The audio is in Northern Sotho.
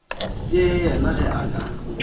le yena ge a ka